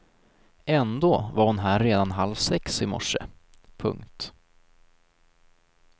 Ändå var hon här redan halv sex i morse. punkt